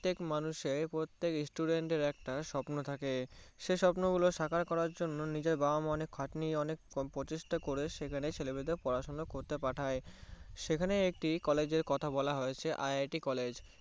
পত্তেক মানুষের পত্তেক Student দের একটা স্বপ্ন থাকে সে স্বপ্ন গুলো সাকার করার জন্যে নিজের বাবা মা অনেক খাটনি এবং প্রচেষ্টা করে সেখানে ছেলে মেয়েদের পড়াশোনা অর্থে পাঠায়ে সেখানে একটি College এর কথা বলা হয়েছে IITCollege